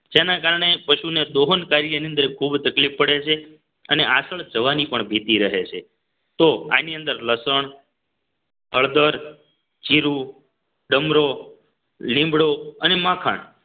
જેના કારણે પશુને દોહન કાર્યની અંદર ખૂબ તકલીફ પડે છે અને આચળ જવાની પણ ભીતી રહે છે તો આની અંદર લસણ હળદર જીરુ ડમરો લીમડો અને માખણ